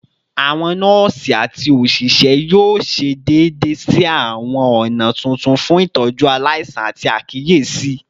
Awọn nọọsi ati oṣiṣẹ yoo ṣe deede si awọn ọna tuntun fun itọju alaisan ati akiyesi